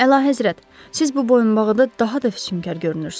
Əlahəzrət, siz bu boyunbağıda daha da füsunkar görünürsünüz.